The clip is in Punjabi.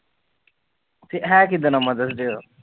ਹੈ ਕਿਦਾ ਦਾ ਮਦਰਸ